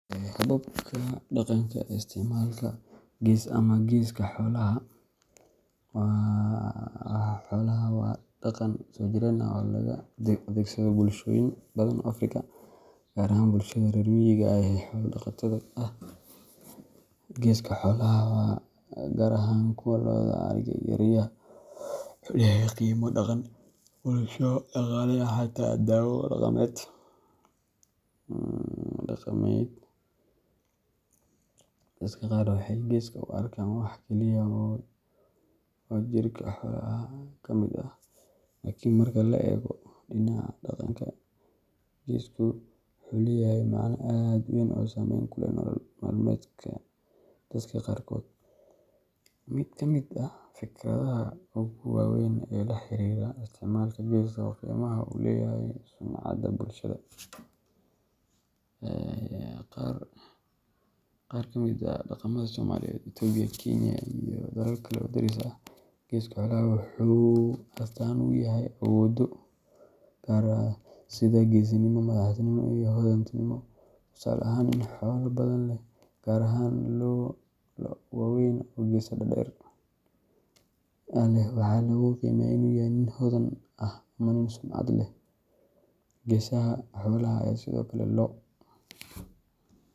Hababka dhaqanka ee isticmaalka gees ama geeska xoolaha waa dhaqan soo jireen ah oo laga adeegsado bulshooyin badan oo Afrika, gaar ahaan bulshada reer miyiga ah ee xoola-dhaqatada ah. Geeska xoolaha, gaar ahaan kuwa lo’da, ariha, iyo riyaha, wuxuu leeyahay qiime dhaqan, bulsho, dhaqaale, iyo xataa daawo dhaqameed. Dadka qaar waxay geeska u arkaan wax keliya oo jirka xoolaha ka mid ah, laakiin marka la eego dhinaca dhaqanka, geesku wuxuu leeyahay macne aad u weyn oo saameyn ku leh nolol maalmeedka dadka qaarkood. Mid ka mid ah fikradaha ugu waaweyn ee la xiriira isticmaalka gees waa qiimaha uu ku leeyahay sumcadda bulshada. Qaar ka mid ah dhaqamada Soomaaliyeed, Itoobiya, Kenya, iyo dalal kale oo deris ah, geeska xoolaha wuxuu astaan u yahay awoodo gaar ah sida geesinimo, madaxnimo, ama hodantinimo. Tusaale ahaan, nin xoolo badan leh, gaar ahaan lo’ waaweyn oo geeso dhaadheer leh, waxaa lagu qiimeeyaa inuu yahay nin hodan ah ama nin sumcad leh. Geesaha xoolaha ayaa sidoo kale loo.